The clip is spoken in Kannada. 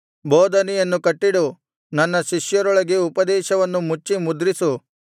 ಬೋಧನೆಯನ್ನು ಕಟ್ಟಿಡು ನನ್ನ ಶಿಷ್ಯರೊಳಗೆ ಉಪದೇಶವನ್ನು ಮುಚ್ಚಿ ಮುದ್ರಿಸು